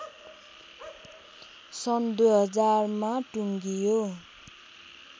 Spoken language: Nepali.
सन् २००० मा टुङ्गियो